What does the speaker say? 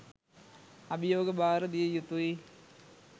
අභියෝග භාර දිය යුතුයි.